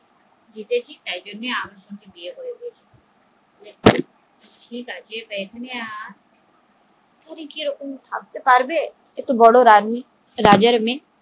জিতেছি তাই জন্য আমি বিয়ে করেছি এবার কিরকম ভাবতে পারবে বড়ো রানী রাজার মেয়ে